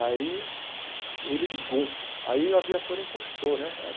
Aí, ele ligou, aí o a viatura encostou, né?